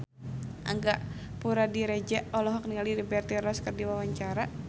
Angga Puradiredja olohok ningali Liberty Ross keur diwawancara